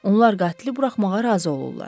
Onlar qatili buraxmağa razı olurlar.